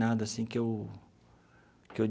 Nada assim que eu que eu.